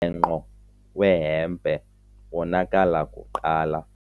mbhenqo wehempe wonakala kuqala.